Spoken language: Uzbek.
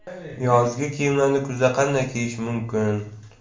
Yozgi kiyimlarni kuzda qanday kiyish mumkin?